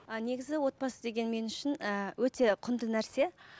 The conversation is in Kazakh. ы негізі отбасы деген мен үшін ыыы өте құнды нәрсе